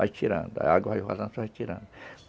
Vai tirando, a água vai vazando, você vai tirando.